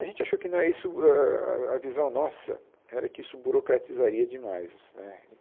A gente achou que na isso...ãh a visão nossa era que isso burocratizaria demais né.